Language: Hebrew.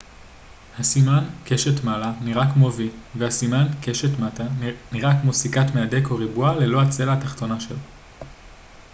הסימן קשת מעלה נראה כמו v ו- סימן הקשת מטה כמו סיכת מהדק או ריבוע ללא הצלע התחתונה שלו